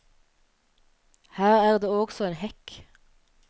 Her er det også en hekk.